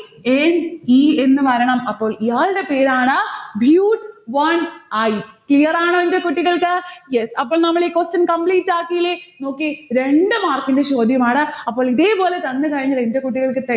n e എന്ന് വരണം. അപ്പൊ ഇയാൾടെ പേരാണ് bute one i clear ആണോ എന്റെ കുട്ടികൾക്ക്? yes അപ്പോ നമ്മളീ question complete ആക്കിലെ. നോക്കിയേ രണ്ടു mark ന്റെ ചോദ്യമാണ്. അപ്പോൾ ഇതേപോലെ തന്നു കഴിഞ്ഞാൽ എന്റെ കുട്ടികൾക്ക്